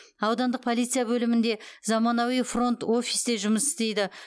аудандық полиция бөлімінде заманауи фронт офис те жұмыс істейді